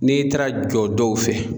N'i taara jɔ dɔw fɛ